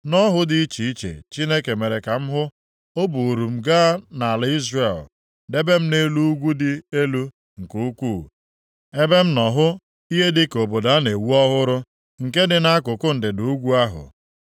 Nʼọhụ dị iche iche Chineke mere ka m hụ, o buuru m gaa nʼala Izrel, debe m nʼelu ugwu dị elu nke ukwu, ebe m nọ hụ ihe dịka obodo a na-ewu ọhụrụ, nke dị nʼakụkụ ndịda ugwu ahụ.